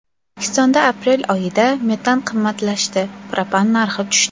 O‘zbekistonda aprel oyida metan qimmatlashdi, propan narxi tushdi.